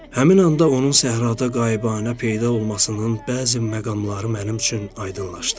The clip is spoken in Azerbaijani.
Həmin anda onun səhrada qaibanə peyda olmasının bəzi məqamları mənim üçün aydınlaşdı.